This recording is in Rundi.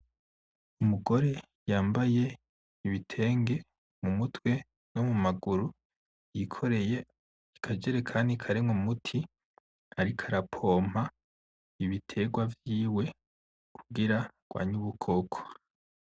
Umugore yambaye ibitenge mu mutwe no mu maguru yikoreye akajerekani karimwo umuti ariko arapompa ibiterwa vyiwe kugira arwanye ubukoko.